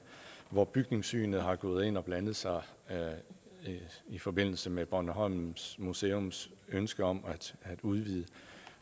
hvor bygningssynet har gået ind og blandet sig i forbindelse med bornholms museums ønske om at udvide